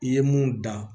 I ye mun dan